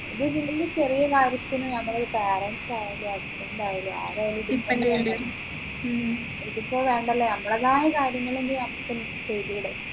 ഇത് ചെറിയ കാര്യത്തിന് നമ്മളെ parents ആയാലും husband ആയാലും ആരായാലും depend ചെയ്യേണ്ടി വരും ഇതിപ്പോ വേണ്ടല്ലോ നമ്മളതായ കാര്യങ്ങൾ നമ്മുക്ക് ചെയ്തൂടെ